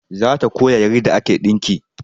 Za ta koya yarda ake ɗinki